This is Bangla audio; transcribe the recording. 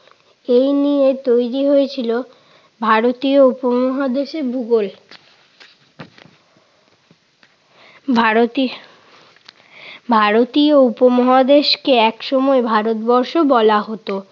এই নিয়ে তৈরি হয়েছিল ভারতীয় উপমহাদেশের ভূগোল। ভারতী ভারতীয় উপমহাদেশকে একসময় ভারতবর্ষ বলা হতো।